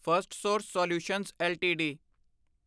Firstsource solutions LTD